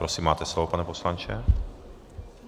Prosím máte slovo, pane poslanče.